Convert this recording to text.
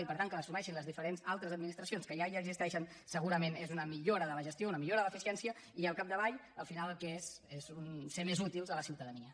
i per tant que les assumeixin les altres administracions que ja existeixen segurament és una millora de la gestió una millora de l’eficiència i al capdavall al final el que és és ser més útils a la ciutadania